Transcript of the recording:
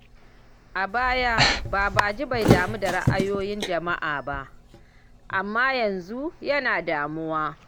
A baya, Babaji bai damu da ra’ayoyin jama’a ba, amma yanzu yana damuwa.